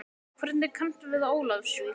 Hvernig kanntu við Ólafsvík?